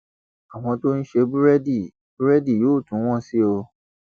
àwọn tó ń ṣe búrẹdì búrẹdì yóò tún wọn sí i o